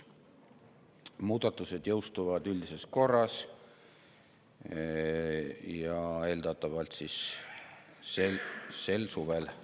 Muudatused jõustuvad üldises korras ja eeldatavalt sel suvel.